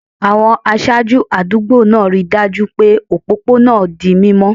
Àwọn aṣáájú àdúgbò náà rí i dájú pé òpópónà náà di mímọ́